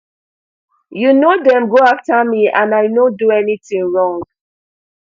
you know dem go after me and i no do anything wrong